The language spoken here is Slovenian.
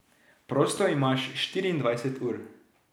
Prosto imaš štiriindvajset ur.